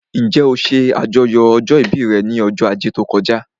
Njẹ́ ó ṣe àjọyọ̀ ọjọ́ ìbí rẹ̀ ní ọjọ́ ajé tó kọjá?